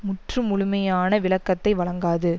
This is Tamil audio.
முற்று முழுமையான விளக்கத்தை வழங்காது